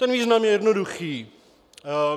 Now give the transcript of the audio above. Ten význam je jednoduchý.